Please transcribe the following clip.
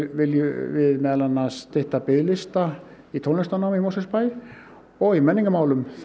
viljum við meðal annars stytta biðlista í tónlistarnám í Mosfellsbæ og í menningarmálum